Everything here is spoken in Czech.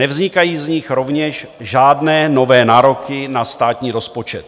Nevznikají z nich rovněž žádné nové nároky na státní rozpočet.